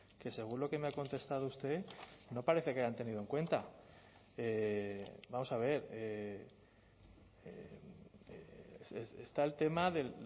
que según lo que me ha contestado usted no parece que hayan tenido en cuenta vamos a ver está el tema de